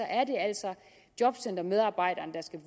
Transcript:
er det altså jobcentermedarbejderne der skal